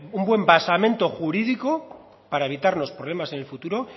un buen basamento jurídico para evitar los problemas en el futuro